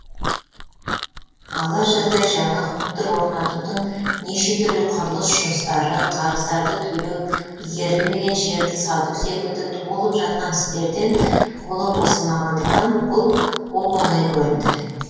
ала жаздай жаңа хутор орнатудың неше түрлі құрылыс жұмыстары қарыздарды төлеу игерілмеген жерді сату секілді толып жатқан істерден қолы босамағандықтан бұл оп оңай көрінді